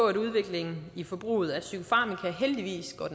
at udviklingen i forbruget af psykofarmaka heldigvis går